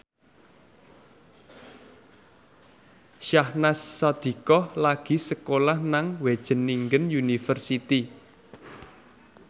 Syahnaz Sadiqah lagi sekolah nang Wageningen University